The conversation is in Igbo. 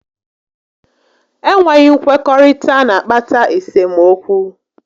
Enweghị nkwekọrịta n'akpata esemokwu